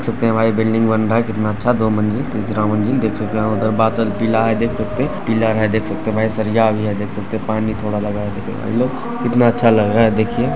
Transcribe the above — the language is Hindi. देख सकते है भाई बिल्डिंग बन रहा है कितना अच्छा दो मंजिल तीसरा मंजिल देख सकते है उधर बादल पीला है देख सकते है पीलर है देख सकते है भाई सरिया भी है देख सकते पानी थोड़ा लगा है भाई लोग कितना अच्छा लग रहा है देखिए--